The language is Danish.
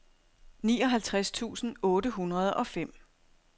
nioghalvtreds tusind otte hundrede og fem